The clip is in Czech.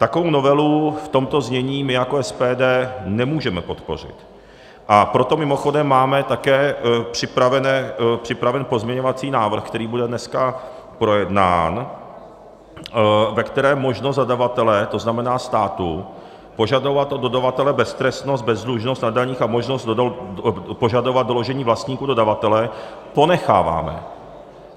Takovou novelu v tomto znění my jako SPD nemůžeme podpořit, a proto mimochodem máme také připraven pozměňovací návrh, který bude dneska projednán, ve kterém možnost zadavatele, to znamená státu, požadovat od dodavatele beztrestnost, bezdlužnost na daních a možnost požadovat doložení vlastníků dodavatele ponecháváme.